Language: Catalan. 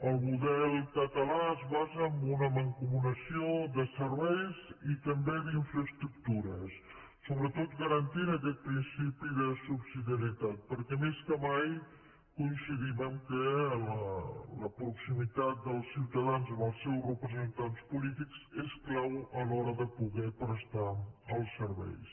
el model català es basa en una mancomunació de serveis i també d’infraestructures sobretot garantint aquest principi de subsidiarietat perquè més que mai coincidim que la proximitat dels ciutadans als seus representants polítics és clau a l’hora de poder prestar els serveis